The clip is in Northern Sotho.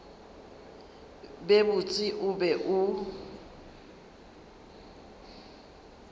be botse o be o